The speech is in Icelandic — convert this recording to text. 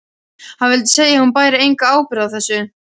Hann vildi segja að hún bæri enga ábyrgð á þessu.